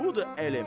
Budur elm.